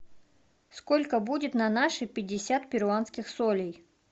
сколько будет на наши пятьдесят перуанских солей